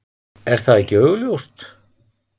Er það ekki augljóst?